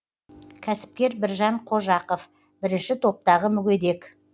кәсіпкер біржан қожақов бірінші топтағы мүгедек